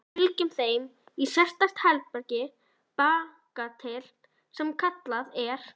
Við fylgjum þeim í sérstakt herbergi bakatil sem kallað er